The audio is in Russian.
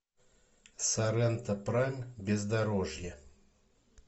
соренто прайм бездорожье